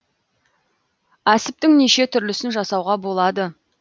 әсіптің неше түрлісін жасауға болады